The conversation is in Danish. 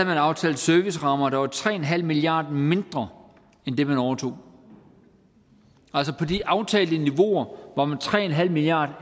man aftalt servicerammer der var tre milliard mindre end dem man overtog altså på de aftalte niveauer var med tre milliard